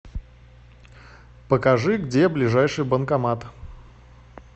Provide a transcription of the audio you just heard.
покажи где ближайший банкомат